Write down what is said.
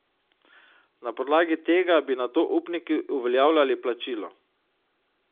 Na podlagi tega bi nato upniki uveljavljali plačilo.